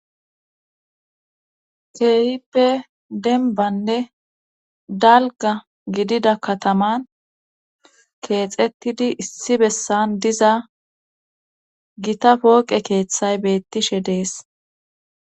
Keehippe denbanne dalga gidida kataman keexettidi issi bessan diza gita pooqe keeththay beettishe dees.